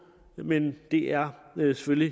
men det er selvfølgelig